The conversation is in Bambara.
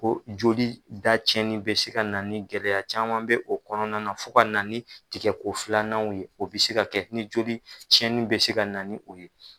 Ko joli da cɛnni bɛ se ka na ni gɛlɛya caman bɛ o kɔnɔna na fo ka tigɛko filananw ye o bɛ se ka kɛ ni joli cɛnni bɛ se ka na ni o ye.